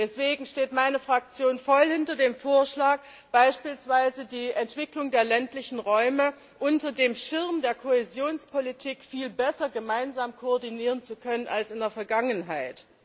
Deswegen steht meine Fraktion voll hinter dem Vorschlag, beispielsweise die Entwicklung der ländlichen Räume unter dem Schirm der Kohäsionspolitik viel besser gemeinsam koordinieren zu können als in der Vergangenheit.